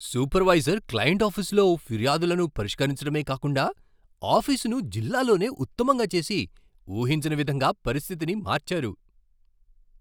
Supervisor client ఆఫీసులో ఫిర్యాదులను పరిష్కరించడమే కాకుండా ఆఫీసును జిల్లాలోనే ఉత్తమంగా చేసి ఊహించని విధంగా పరిస్థితిని మార్చారు.